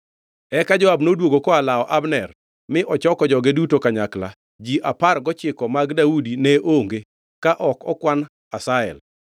Eka Joab noduogo koa lawo Abner mi ochoko joge duto kanyakla. Ji apar gochiko mag Daudi ne onge ka ok okwan Asahel.